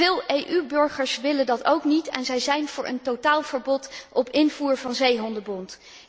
Veel EU burgers willen dat ook niet, en zij zijn voor een totaalverbod op invoer van zeehondenbont.